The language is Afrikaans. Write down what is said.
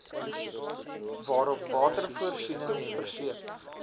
waarop watervoorsiening verseker